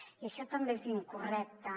i això també és incorrecte